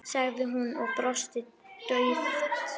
sagði hún og brosti dauft.